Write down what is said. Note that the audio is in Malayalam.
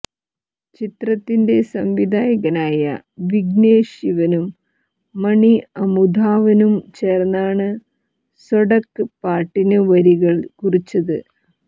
ചിത്രത്തിന്റെ സംവിധായകനായ വിഗ്നേഷ് ശിവനും മണി അമുധാവനും ചേർന്നാണ് സൊടക്ക് പാട്ടിന് വരികൾ കുറിച്ചത്